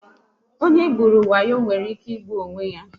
Onye e gburu wayo nwere ike ịgbu onwe ya